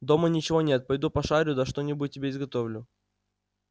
дома ничего нет пойду пошарю да что-нибудь тебе изготовлю